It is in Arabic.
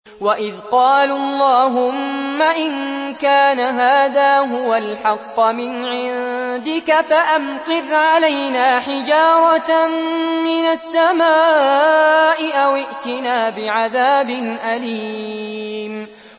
وَإِذْ قَالُوا اللَّهُمَّ إِن كَانَ هَٰذَا هُوَ الْحَقَّ مِنْ عِندِكَ فَأَمْطِرْ عَلَيْنَا حِجَارَةً مِّنَ السَّمَاءِ أَوِ ائْتِنَا بِعَذَابٍ أَلِيمٍ